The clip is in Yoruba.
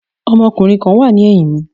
Ọmọkùnrin kan wà ní ẹ̀yìn mi.